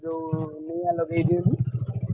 ଯୋଉ ନିଆଁ ଲଗେଇ ଦିଅନ୍ତି?